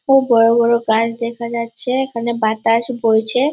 খুব বড় বড় গাছ দেখা যাচ্ছে এখানে বাতাস বইছে।